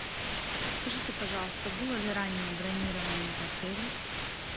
подскажите пожалуйста было ли раннее бронирование в отеле